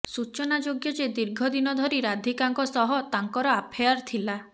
ସୂଚନାଯୋଗ୍ୟ ଯେ ଦୀର୍ଘ ଦିନଧରି ରାଧିକାଙ୍କ ସହ ତାଙ୍କର ଆଫେୟାର ଥିଲା